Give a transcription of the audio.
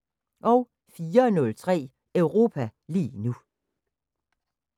04:03: Europa lige nu